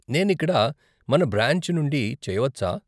నేను ఇక్కడ మన బ్రాంచ్ నుండి చేయవచ్చా?